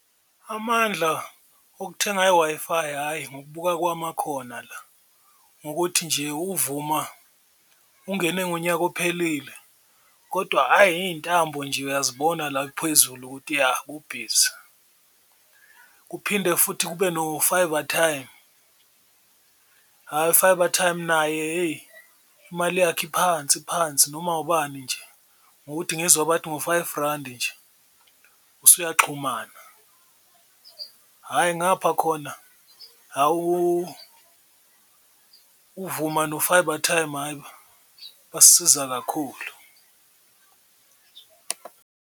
Amandla okuthenga i-Wi-Fi hhayi ngokubuka kwami akhona la, ngokuthi nje uVuma ungene unyaka ophelile kodwa hhayi iy'ntambo nje uyazibona la phezulu ukuthi ya kubhizi. Kuphinde futhi kube no-Fibretime, hhayi u-Fibretime naye hheyi imali yakhe iphansi phansi noma ubani nje ngokuthi ngizwa bathi ngo-five randi nje usuyaxhumana, hhayi ngapha khona hha uVuma no-Fibretime hhayi, basisiza kakhulu.